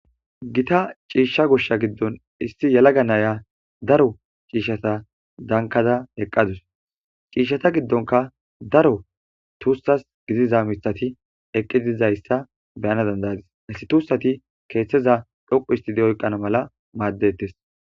Githa ciishsha goshsha giddon issi yelaga na7iya daro ciishshatha dankkada eqqa dawus;ciishshatha giddonkka daro thusththas gidiza miththathi eqqizizayssa be7ana dandda7ays;isththi thuussathi keeththaza dhoqqu ooththidi oyqqana mala maaddeeththes.